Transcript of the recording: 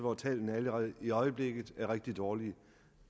hvor tallene allerede i øjeblikket er rigtig dårlige